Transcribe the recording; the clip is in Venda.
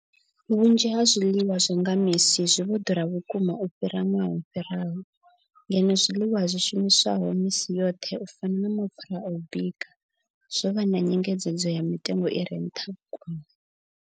Vhunzhi ha zwiḽiwa zwa nga misi zwi vho ḓura vhukuma u fhira ṅwaha wo fhiraho, ngeno zwiḽiwa zwi shumiswaho misi yoṱhe u fana na mapfhura a u bika zwo vha na nyengedzedzo ya mitengo i re nṱha vhukuma.